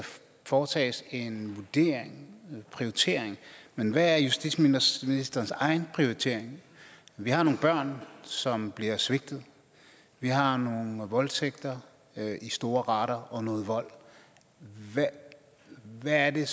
foretages en vurdering en prioritering men hvad er justitsministerens egen prioritering vi har nogle børn som bliver svigtet vi har nogle voldtægter i store rater og noget vold hvad er det